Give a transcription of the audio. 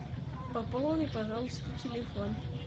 пополни пожалуйста телефон